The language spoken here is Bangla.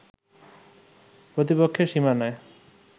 প্রতিপক্ষের সীমানায়